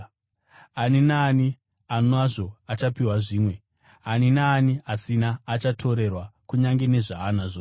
Ani naani anazvo achapiwa zvimwe; ani naani asina, achatorerwa kunyange nezvaanazvo.”